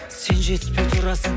сен жетіспей тұрасың